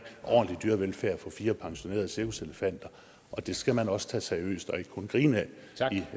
ordentlig dyrevelfærd for fire pensionerede cirkuselefanter og det skal man også tage seriøst og ikke kun grine af